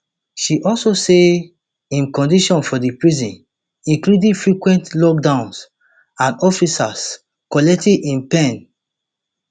she also say im condition for di prison including frequent lockdowns and officers collecting im pen